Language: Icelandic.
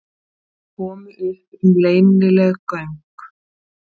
Komu upp um leynileg göng